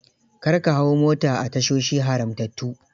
Kar ka hau mota a tashoshi haramtattu.